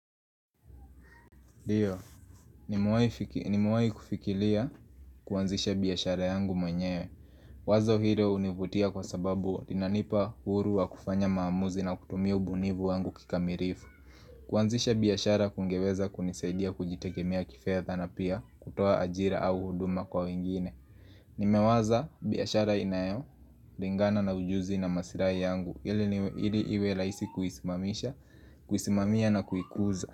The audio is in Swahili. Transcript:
Ndiyo, nimewahi kufikiria kuanzisha biashara yangu mwenyewe. Wazo hilo hunivutia kwa sababu inanipa uhuru wa kufanya maamuzi na kutumia ubunifu wangu kikamilifu. Kuanzisha biashara kungeweza kunisaidia kujitekemea kifedha na pia kutoa ajira au huduma kwa wengine. Nimewaza biashara inayolingana na ujuzi na maslahi yangu ili niwe ili iwe rahisi kuisimamisha, kuisimamia na kuikuza.